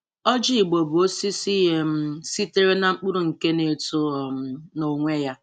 Öjï igbo bụ osisi um sitere na mkpụrụ nke na-eto um nonwe ya.